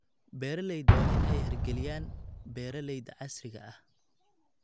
Beeralayda waa in ay hirgeliyaan beeralayda casriga ah.